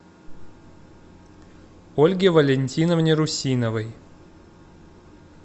ольге валентиновне русиновой